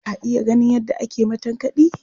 Ka taɓa ganin yadda ake matankaɗi?